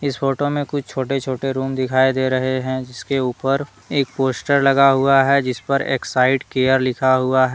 photo में कुछ छोटे-छोटे रूम दिखाई दे रहे हैं जिसके ऊपर एक पोस्टर लगा हुआ है जिस पर एक्साइड केयर लिखा हुआ--